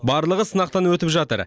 барлығы сынақтан өтіп жатыр